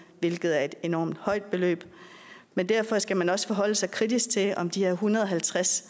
hvilket er et enormt højt beløb men derfor skal man også forholde sig kritisk til om de her en hundrede og halvtreds